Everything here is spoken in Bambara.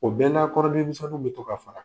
O bɛ na kɔnɔdimisɛnniw be to k'a faga.